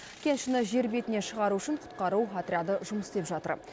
кеншіні жер бетіне шығару үшін құтқару отряды жұмыс істеп жатыр